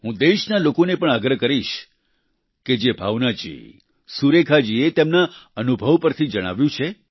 હું દેશના લોકોને પણ આગ્રહ કરીશ કે જે ભાવના જી સુરેખા જીએ તેમના અનુભવ પરથી જણાવ્યું છે